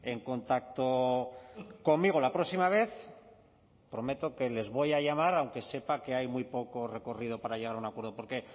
en contacto conmigo la próxima vez prometo que les voy a llamar aunque sepa que hay muy poco recorrido para llegar a un acuerdo porque